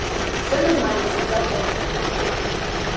все нормально сказал он